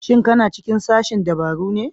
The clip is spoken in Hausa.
Shin ka na cikin sashen dabaru ne?